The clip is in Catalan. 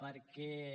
perquè